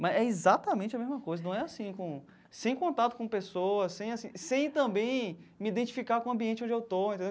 Mas é exatamente a mesma coisa, não é assim com, sem contato com pessoas, sem assim sem também me identificar com o ambiente onde eu estou, entendeu?